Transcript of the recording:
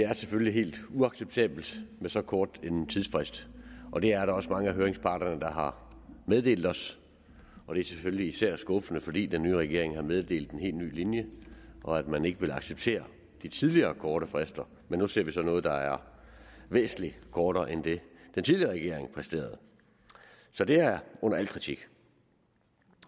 er selvfølgelig helt uacceptabelt med så kort en tidsfrist og det er der også mange af høringsparterne der har meddelt os og det er selvfølgelig især skuffende fordi den nye regering har meddelt en helt ny linje og at man ikke vil acceptere de tidligere korte frister men nu ser vi så noget der er væsentlig kortere end det den tidligere regering præsterede så det er under al kritik